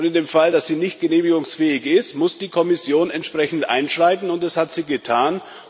Und in dem Fall, dass sie nicht genehmigungsfähig ist, muss die Kommission entsprechend einschreiten, und das hat sie getan.